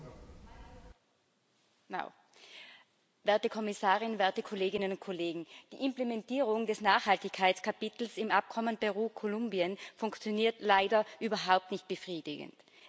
Frau Präsidentin, Frau Kommissarin, werte Kolleginnen und Kollegen! Die Implementierung des Nachhaltigkeitskapitels im Abkommen mit Peru und Kolumbien funktioniert leider überhaupt nicht befriedigend.